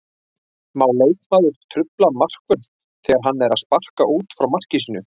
Má leikmaður trufla markvörð þegar hann er að sparka út frá marki sínu?